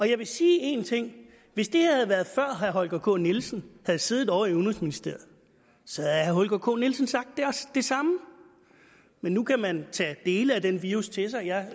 jeg vil sige en ting hvis det havde været før herre holger k nielsen havde siddet ovre i udenrigsministeriet så havde herre holger k nielsen sagt det samme men nu kan man tage dele af den virus til sig jeg